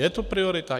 Je to priorita?